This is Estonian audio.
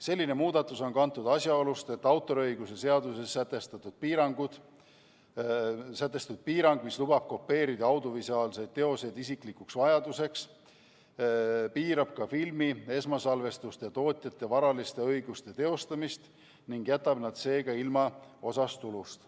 Selline muudatus on kantud asjaolust, et autoriõiguse seaduses sätestatud piirang, mis lubab kopeerida audiovisuaalseid teoseid isiklikuks vajaduseks, piirab ka filmi esmasalvestuse tootjate varaliste õiguste teostamist ning jätab nad seega ilma osast tulust.